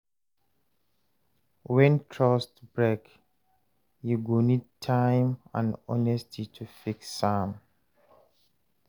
Wen trust break, yu go nid time and honesty to fix am.